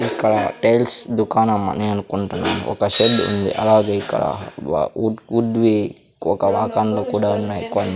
ఇక్కడ టైల్స్ దుకాణం అని అనుకుంటున్నాను ఒక షెడ్ ఉంది అలాగే ఇక్కడ వ వుడ్ వుడ్ వి ఒక కూడా ఉన్నాయ్ కొన్ని --